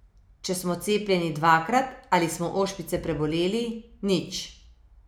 Če smo cepljeni dvakrat ali smo ošpice preboleli, nič.